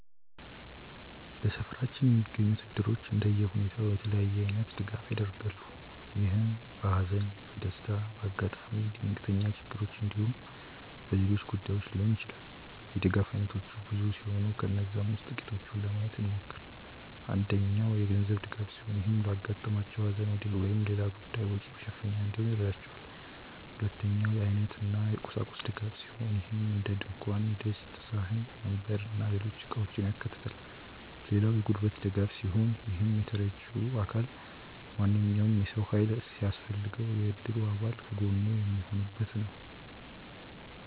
በሰፈራችን የሚገኙት እድሮች እንደየሁኔታው የተለያየ አይነት ድጋፍ ያደርጋሉ። ይህም በሃዘን፣ በደስታ፣ በአጋጣሚ ድንገተኛ ችግሮች እንዲሁም በሌሎች ጉዳዮች ሊሆን ይችላል። የድጋፍ አይነቶቹ ብዙ ሲሆኑ ከነዛም ውስጥ ጥቂቱን ለማየት እንሞክር። አንደኛው የገንዘብ ድጋፍ ሲሆን ይህም ለአጋጠማቸው ሃዘን ወይም ሌላ ጉዳይ ወጪ መሸፈኛ እንዲሆን ይረዳቸዋል። ሁለተኛው የአይነት እና የቁሳቁስ ድጋፍ ሲሆን ይህም እንደድንኳን ድስት፣ ሳህን፣ ወንበር እና ሌሎች እቃውችን ያካታል። ሌላው የጉልበት ድጋፍ ሲሆን ይህም ተረጂው አካል ማንኛውም የሰው ሃይል ሲያስፈልገው የእድሩ አባል ከጎኑ የሚሆኑበት ነው።